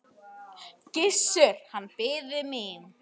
Gissur, hann biði mín.